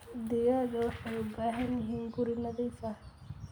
Digaagga waxay u baahan yihiin guri nadiif ah.